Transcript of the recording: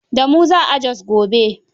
Da mu za a Jos gobe.